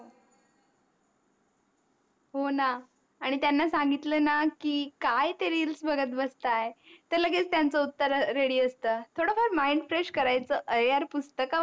आणि त्यांना सांगितल न की काय ते REELS बघत बसते तर लगेच त्यांच उत्तर READY असत थोड फार MINDFRESH करायच अरे यार पुस्तक वाचा